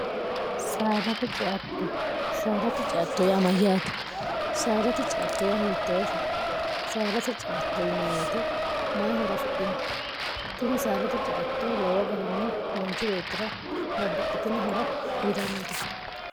saaddate ce'atto saaddati ce'atto yaa mayyaate saaddate ce'atto hittoote sadate ce'atto yinayi woyete mayi horo ofidhino tini saaddate ce'atto lowo garinni manchu beettira babbaxxitino horo yinnannite